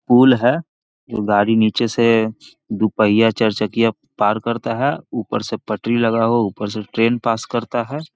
पूल है | एगो गाडी नीचे से दू पहिया चार चकिया पार करता है ऊपर से पटरी लगा हुआ ऊपर से ट्रैन पास करता है |